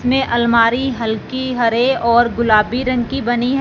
मे अलमारी हल्की हरे और गुलाबी रंग की बनी है।